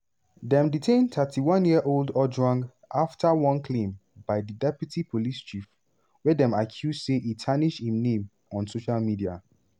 dem detain 31-year-old ojwang afta one complaint by di deputy police chief wey dem accuse say e tarnish im name on social media.